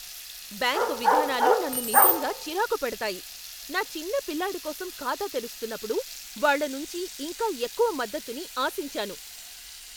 Bank విధానాలు నన్ను నిజంగా చిరాకు పెడతాయి. నా చిన్న పిల్లాడికోసం ఖాతా తెరుస్తునప్పుడు వాళ్ళనుంచి ఇంకా ఎక్కువ మద్దతుని ఆశించాను.